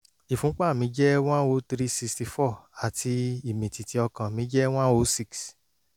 ìfúnpá mi jẹ́ one o three sixty four àti ìmìtìtì ọkàn mi jé one o six